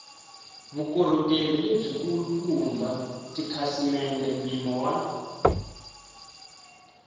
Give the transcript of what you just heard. vukorhokeri lebyikulukumba tikhasimende mpimo wa